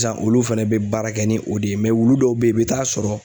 Sisan olu fɛnɛ be baara kɛ ni o de ye wulu dɔw be yen, i be taa sɔrɔ